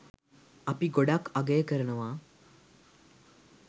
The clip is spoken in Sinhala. අපි ගොඩක් අගය කරනවා